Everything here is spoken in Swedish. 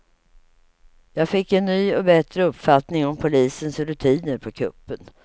Jag fick en ny och bättre uppfattning om polisens rutiner på kuppen.